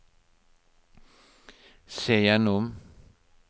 se gjennom